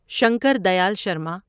Shankar Dayal Sharma